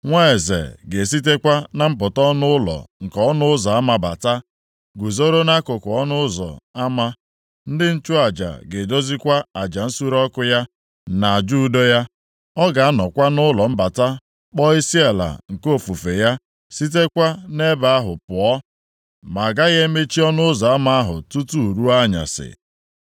Nwa eze ga-esitekwa na mpụta ọnụ ụlọ nke ọnụ ụzọ ama bata, guzoro nʼakụkụ ọnụ ụzọ ama. Ndị nchụaja ga-edozikwa aja nsure ọkụ ya, na aja udo ya. Ọ ga-anọkwa nʼụlọ mbata kpọọ isiala nke ofufe ya, sitekwa nʼebe ahụ pụọ. Ma a gaghị emechi ọnụ ụzọ ahụ tutu ruo anyasị.